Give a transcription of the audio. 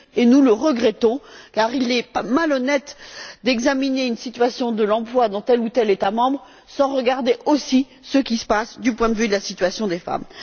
Nous le regrettons, car il est malhonnête d'examiner la situation de l'emploi dans tel ou tel État membre sans regarder aussi ce qui se passe du point de vue de la situation des femmes.